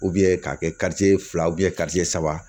k'a kɛ fila saba